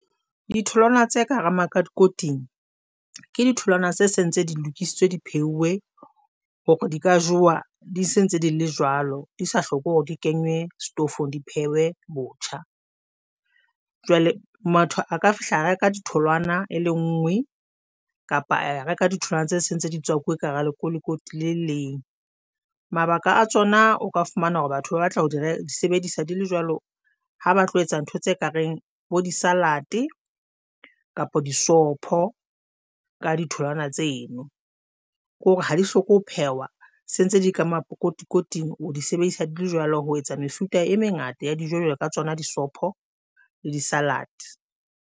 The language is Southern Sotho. Ditholwana tsa ka hara makotikoting ke ditholwana tsa sentse di lokisitswe di pheuwe hore di ka jowa di se ntse di le jwalo, di sa hloke hore di kenywe stofong di pheuwe botjha. Jwale motho a ka fihla reka ditholwana e le nngwe kapa e reka ditholwana tsa se ntse di tswakuwe ka hara lekotikoti le le leng mabaka a tsona o ka fumana hore batho ba batla ho sebedisa di le jwalo ha ba tlo etsa ntho tse kareng bo di-salad kapa di sopho ka ditholowana tseno kore ha di hloke ho phehwa. Sentse di le ka makotikoting, o di sebedisa di le jwalo ho etsa mefuta e mengata ya dijo jwalo ka tsona di sopho le di-salad.